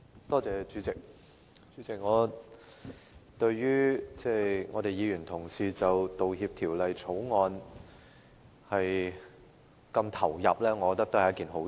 代理主席，對於議員同事就《道歉條例草案》的辯論如此投入，我認為是一件好事。